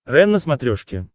рен на смотрешке